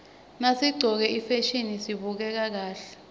nasiqcoke ifasihni sibukeka kahle